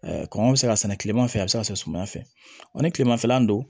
kɔngɔ bɛ se ka sɛnɛ kileman fɛ a be se ka sɛnɛ suma fɛ o ni kilemanfɛla don